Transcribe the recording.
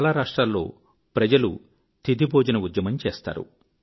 చాలా రాష్ట్రాల్లో ప్రజలు తిథి భోజన ఉద్యమం చేస్తారు